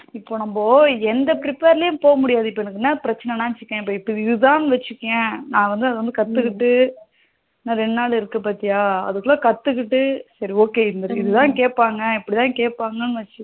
இப்போ நம்ம எந்த prepare போக முடியாது இப்போ எனக்கு என்ன பிரச்சனனா வச்சிகோயேன் இப்போ இது தான் வச்சிகோயேன் நா வந்து இது கத்துகிட்டு இன்னும் இரண்டு நாள் இருக்கு பாத்தியா அதுக்குல கத்துகிட்டு சரி okay இதுதான் கேப்பாங்க இப்படிதான் கேப்பாங்க வச்சி